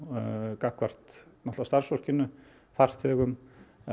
gagnvart náttúrulega starfsfólkinu farþegum